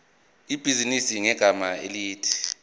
ibhizinisi ngegama elithi